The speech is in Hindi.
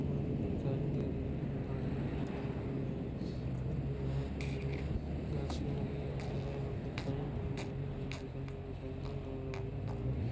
गाड़ी लगी हुई है घासे लगी हुई है और दिखाई दे रही हैं।